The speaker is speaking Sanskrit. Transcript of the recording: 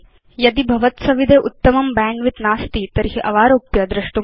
यदि भवत्सविधे उत्तमं बैण्डविड्थ नास्ति तर्हि अवारोप्य तद् द्रष्टुं शक्यम्